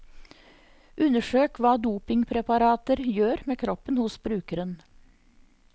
Undersøk hva dopingpreparater gjør med kroppen hos brukeren.